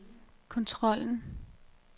kontrollen